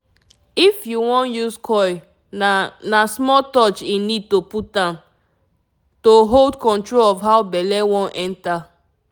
if you want use coil na na small touch e need to put am-- to hold control of how belle wan enter